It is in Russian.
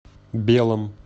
белом